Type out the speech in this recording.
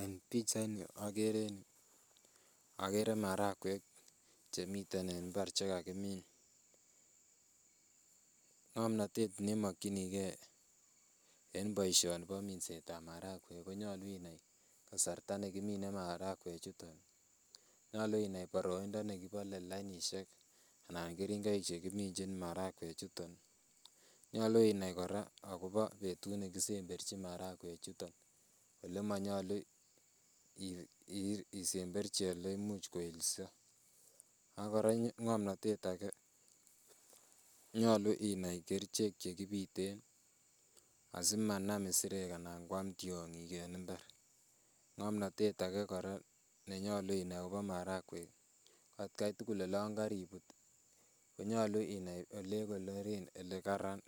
En pichaini agere in, agere marakwek che miten en imbar che kagimin. Ngomnatet ne makyinige en boisioni bo minsetab marakwek, konyalu unai kasarta ne kimine marakwechuton. Nyalu inai boroindo ne kibole lainisiek anan keringoik chekiminjin marakwechuton. Nyalu inai kora agobo betut ne kisemberchin marakwechuton. Olemanyalu isemberchi ole imuch koilso. Ak korony ngamnatet age, nyalu inai kerichek che kipiten asimanam isirek anan kwam tiongik en imbar. Ngamnatet age kora nenyalu inai agobo marakwek ko atkai tugul olan kariput ii, konyalu ole konoren, ole kararan.